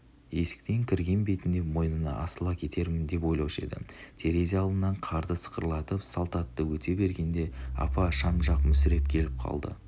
есіктен кірген бетінде мойнына асыла кетермін деп ойлаушы еді терезе алдынан қарды сықырлатып салт атты өте бергендеапа шам жақ мүсіреп келіп қалды